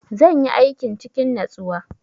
Zan yi aikin cikin natsuwa.